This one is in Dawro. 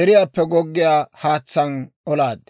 deriyaappe goggiyaa haatsaan olaad.